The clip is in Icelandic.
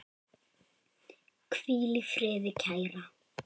Hvíl í friði, kæra.